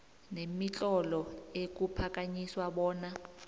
nemitlolo ekuphakanyiswa bona